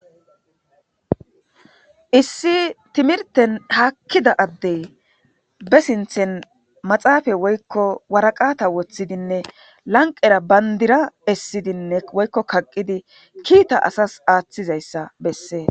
Issi timirten haakida adde be sinththen maxafe woyko waraqata wotidinne lanqera bandira essidinne woyko kaqidi kiita asas aatizaysa besesses.